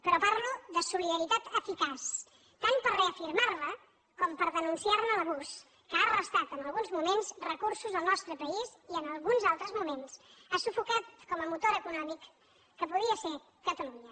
però parlo de solidaritat eficaç tant per reafirmar la com per denunciar ne l’abús que ha restat en alguns moments recursos al nostre país i en alguns altres moments ha sufocat com a motor econòmic que podia ser catalunya